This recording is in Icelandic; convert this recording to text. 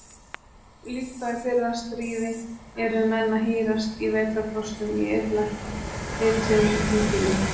Líkt og í fyrra stríði yrðu menn að hírast í vetrarfrostum í illa hituðum híbýlum.